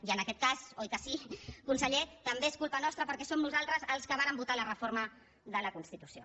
i en aquest cas oi que sí conseller també és culpa nostra perquè som nosaltres els que vàrem votar la reforma de la constitució